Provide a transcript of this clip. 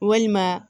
Walima